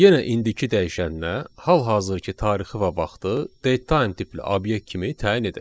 Yenə indiki dəyişənə hal-hazırki tarixi və vaxtı datetime tipli obyekt kimi təyin edək.